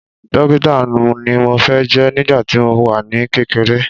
Dókítà ni mo fẹ́ jẹ́ nígbà tí mo wà ní kékeré